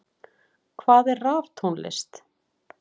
Hvað er raftónlist?